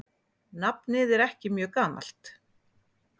Nafnið er ekki mjög gamalt.